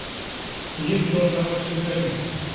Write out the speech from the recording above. ездил короче блять